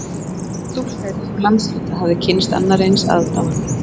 Engin stúlka í þessum landshluta hafði kynnst annarri eins aðdáun